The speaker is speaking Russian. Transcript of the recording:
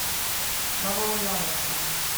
новоульяновском